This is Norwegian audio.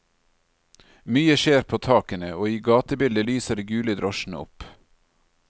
Mye skjer på takene, og i gatebildet lyser de gule drosjene opp.